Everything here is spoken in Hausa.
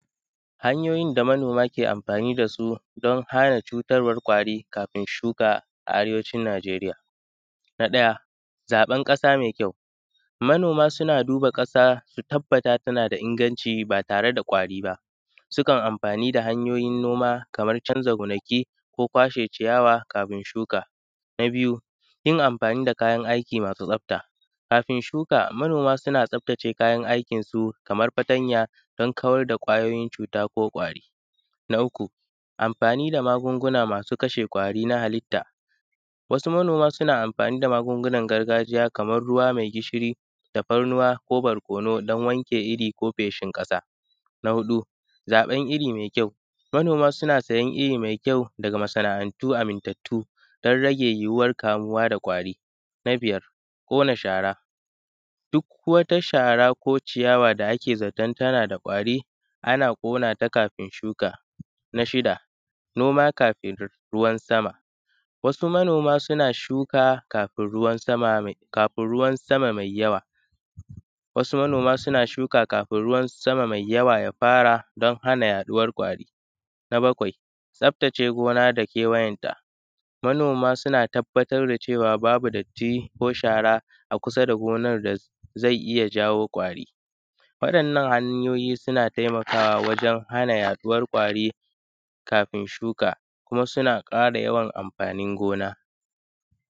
hanyoyin da manoma ke amfani da su, don hana cutar ƙwari kafin shuka a arewacin najeriya. Na ɗaya zaɓan ƙasa mai kyau, manoma suna duba ƙasa su tabbata tana da inganci ba tare da ƙwari ba, sukan yi amfani da hanyoyin noma kamar canza gonaku, ko kwashe ciyawa kafin shuka. Na biyu yin amfani da kayan aiki masu tsafta, kafin shuka manoma sukan tsaftace kayan aikin su kamar fatanya, don kawar da ƙwayoyin cuta ko ƙwari. Na uku amfani da magunguna masu kashe ƙwari na halitta. Wasu manoma suna amfani da magungunan gargajiya kamar ruwa mai gishiri tafannuwa ko barkono don wanke iri ko feshin ƙasa. Na huɗu zaɓan iri mai kyau, manoma suna siyan iri mai kyau daga masana’antu amintattu don rage yuɗuwar kamawa da ƙwari. Na biyar ƙona shara, duk wata shara ko ciyawa da ake zaton tana da ƙwari ana ƙona ta kafin shuka. Na shida noma kafin ruwan sama, wasu manoma na shu:ka kafin ruwan sama mai yawa, asu mano:ma na ʃuka kafin ruwa ja fara don hana yaɗuwa ƙwari. Na bakwai tsaftatace gona da kewayenta, manoma suna tabbatar da cewa babu datti ko shara a kusa da gonar da zai iya jawo ƙwari. Waɗannan hanyoyi suna taimawa wajen hana yaɗuwar ƙwari kafin shuka kuma suna ƙara yawan amfanin gona:.